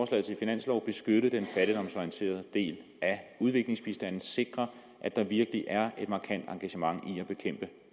til finanslov beskytte den fattigdomsorienterede del af udviklingsbistanden og sikre at der virkelig er et markant engagement i at bekæmpe